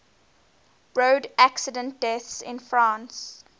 road accident deaths in france